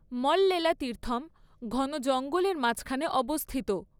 মল্লেলা তীর্থম ঘন জঙ্গলের মাঝখানে অবস্থিত।